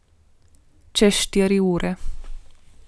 Čez štiri ure.